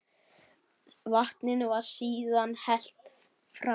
Vatninu var síðan hellt frá.